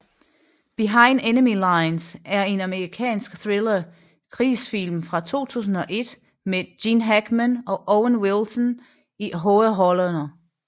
Behind Enemy Lines er en amerikansk thriller krigsfilm fra 2001 med Gene Hackman og Owen Wilson i hovedrollerne